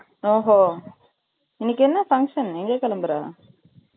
ஓஹோ! இன்னைக்கு என்ன function ? எங்க கிளம்பற?